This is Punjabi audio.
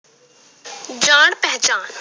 ਜਾਣ ਪਹਿਚਾਣ,